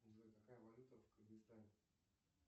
джой какая валюта в кыргызстане